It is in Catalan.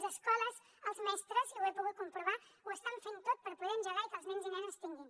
les escoles els mestres i ho he pogut comprovar ho estan fent tot per poder engegar i que els nens i nenes tinguin